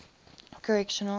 correctional